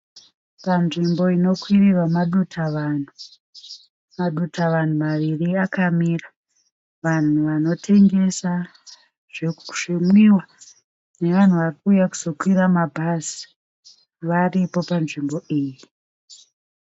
Panzvimbo inokwirirwa maduta vanhu. Maduta vanhu maviri akamira. Vanhu vanotengesa zvimwiwa nevanhu varikuuya kuzokwira mabhazi varipo panzvimbo iyi.